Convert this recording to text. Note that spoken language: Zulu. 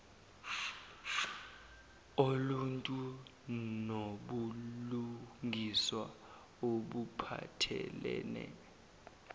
oluntu nobulungiswa obuphathelene